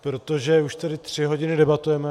Protože už tady tři hodiny debatujeme.